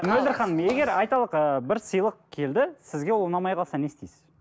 мөлдір ханым егер айталық ыыы бір сыйлық келді сізге ол ұнамай қалса не істейсіз